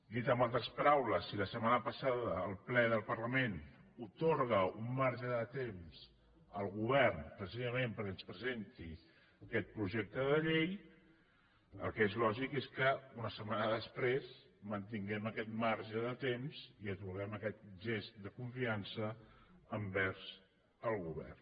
dit en altres paraules si la setmana pas·sada el ple del parlament atorga un marge de temps al govern precisament perquè ens presenti aquest projec·te de llei el que és lògic és que una setmana després mantinguem aquest marge de temps i atorguem aquest gest de confiança envers el govern